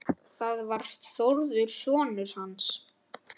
Það var Þórður sonur hans.